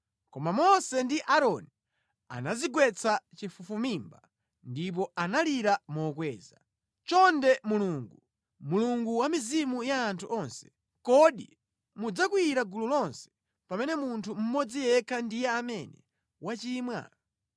Koma Mose ndi Aaroni anadzigwetsa chafufumimba ndipo analira mokweza, “Chonde Mulungu, Mulungu wa mizimu ya anthu onse, kodi mudzakwiyira gulu lonse pamene munthu mmodzi yekha ndiye amene wachimwa?”